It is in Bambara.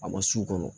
A ma su kɔnɔ